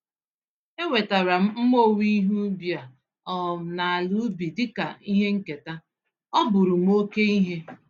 Enwetara m mma owuwe ihe ubi a um na ala ubi dịka ihe nketa—ọ bụrụm oke ihe.